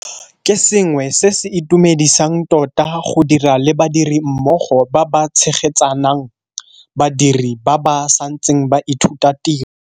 Ke sengwe se se itumedisang tota go dira le badirimmogo ba ba tshegetsang badiri ba ba santseng ba ithuta tiro.